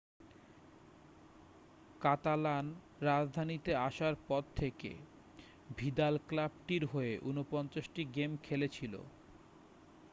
কাতালান-রাজধানীতে আসার পর থেকে ভিদাল ক্লাবটির হয়ে 49 টি গেম খেলেছিল